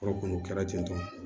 Yɔrɔ kɔni o kɛra ten tɔ